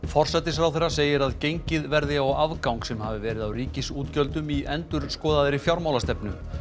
forsætisráðherra segir að gengið verði á afgang sem hafi verið á ríkisútgjöldum í endurskoðaðri fjármálastefnu